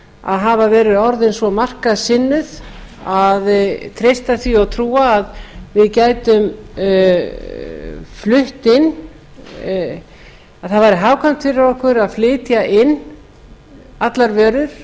að hafa verið orðin svo markaðssinnuð að treysta því og trúa að það væri hagkvæmt fyrir okkur að flytja inn allar